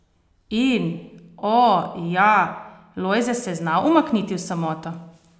In, o, ja, Lojze se je znal umakniti v samoto!